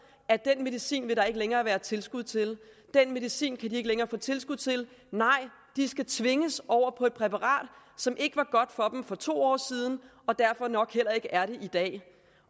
at den medicin vil der ikke længere være tilskud til den medicin kan de ikke længere få tilskud til nej de skal tvinges over på et præparat som ikke var godt for dem for to år siden og derfor nok heller ikke er det i dag